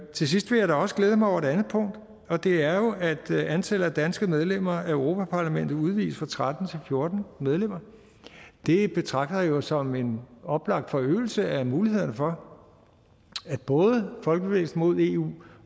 til sidst vil jeg da også glæde mig over et andet punkt og det er jo at antallet af danske medlemmer af europa parlamentet udvides fra tretten til fjorten medlemmer det betragter jeg jo som en oplagt forøgelse af mulighederne for at både folkebevægelsen mod eu